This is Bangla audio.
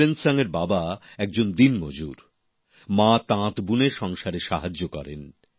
কেলেনসাং এর বাবা একজন দিনমজুর মা তাঁত বুনে সংসারে সাহায্য করেন